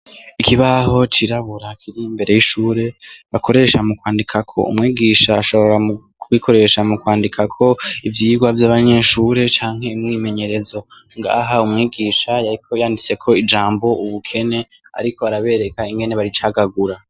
Ikibaho cirabura kiri imbere yishure bakoresha mukwandikako, umwigisha ashobora kugikoresha mukwandikako ivyigwa vyabanyeshure canke umwimenyerezo ngaha umwigisha yariko yanditseko ijambo ubukene ariko arabereka ingene baricagagura.